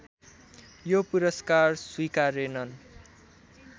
यो पुरस्कार स्वीकारेनन्